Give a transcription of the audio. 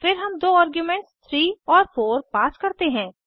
फिर हम दो आर्ग्यूमेंट्स 3 और 4 पास करते हैं